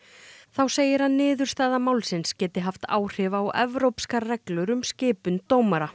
þá segir að niðurstaða málsins geti haft áhrif á evrópskar reglur um skipun dómara